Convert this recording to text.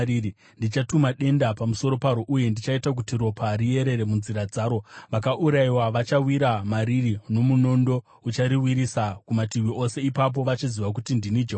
Ndichatuma denda pamusoro paro ndigoita kuti ropa riyerere munzira dzaro. Vakaurayiwa vachawa mariri, nomunondo uchirirwisa kumativi ose. Ipapo vachaziva kuti ndini Jehovha.